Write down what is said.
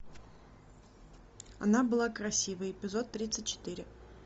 она была красивой эпизод тридцать четыре